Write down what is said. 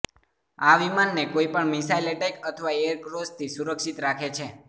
આ વિમાનને કોઈપણ મિસાઇલ એટેક અથવા એર ક્રેશથી સુરક્ષિત રાખે છે